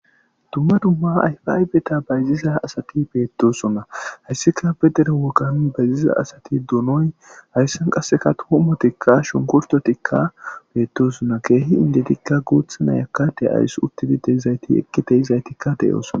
dumma dumma ayfaaybeta bayziza asati beettoosonna hayssika bedere wogan bayziza asati duunoy hayssan qasseka tuumo tikka shunkurtotikka beettosona keehi indetikka guuthana yakkade ays uttidi dezayti ekki teyizaytikka deyoosona